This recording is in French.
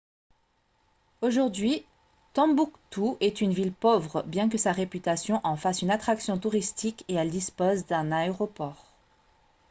aujourd'hui tombouctou est une ville pauvre bien que sa réputation en fasse une attraction touristique et elle dispose d'un aéroport